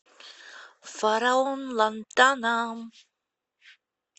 фараон лантана